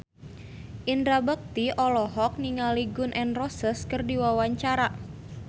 Indra Bekti olohok ningali Gun N Roses keur diwawancara